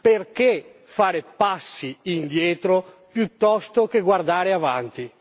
Perché fare passi indietro piuttosto che guardare avanti?